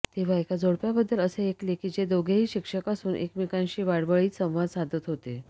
तेव्हा एका जोडप्याबद्दल असे ऐकले की जे दोघेही शिक्षक असून एकमेकांशी वाडवळीत संवाद साधत होते